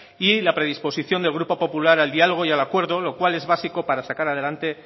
y la predisposición del grupo popular al diálogo y al acuerdo lo cual es básico para sacar adelante